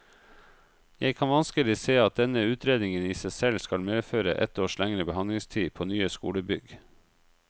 Jeg kan vanskelig se at denne utredningen i seg selv skal medføre ett års lengre behandlingstid på nye skolebygg.